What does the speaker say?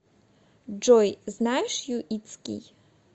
джой знаешь юитский